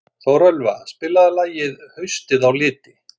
Þórelfa, spilaðu lagið „Haustið á liti“.